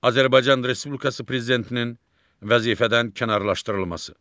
Azərbaycan Respublikası Prezidentinin vəzifədən kənarlaşdırılması.